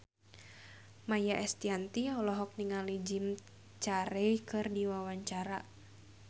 Maia Estianty olohok ningali Jim Carey keur diwawancara